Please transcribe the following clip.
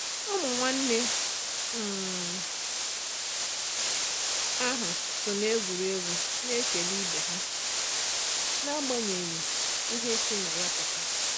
Ụmụ nwanne um ahụ so n'egwuregwu na-ekele ibe ha n'agbanyeghị ihe si na ya pụta.